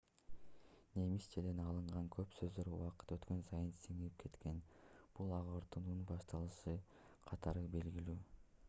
немисчеден алынган көп сөздөр убакыт өткөн сайын сиңип кеткен бул агартуунун башталышы катары белгилүү